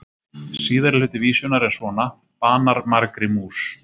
Síðari hluti vísunnar er svona: Banar margri mús,